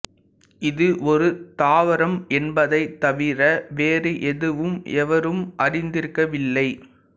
இது ஒரு தாவரம் என்பதைத் தவிர வேறு எதுவும் எவரும் அறிந்திருக்கவில்லை